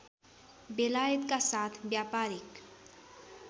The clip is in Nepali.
बेलायतका साथ व्यापारीक